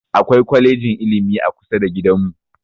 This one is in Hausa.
Akwai kwalejin ilimi a kusa da gidan mu